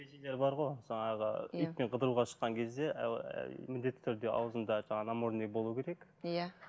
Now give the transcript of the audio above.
ережелер бар ғой жаңағы итпен қыдыруға шыққан кезде міндетті түрде ауызында жаңағы намордник болу керек иә